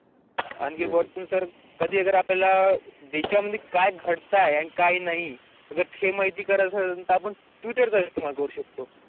आनीकी पर्थुन सर कधि आगर आपल्यला दिवासंदिवस काय घड़ताय काय नाही आगर ते महिती आपण ट्विटरचा इस्तेमाल करू शकथो.